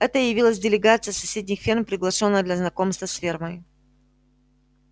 это явилась делегация с соседних ферм приглашённая для знакомства с фермой